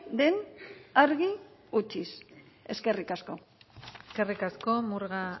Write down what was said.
den argi utziz eskerrik asko eskerrik asko murga